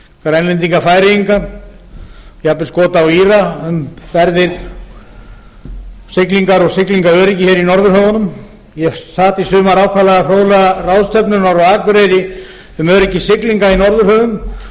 grænlendinga og færeyinga jafnvel skota og íra um siglingar og siglingaöryggi í norðurhöfunum ég sat í sumar ákaflega fróðlega ráðstefnu norður á akureyri um öryggi siglinga í norðurhöfum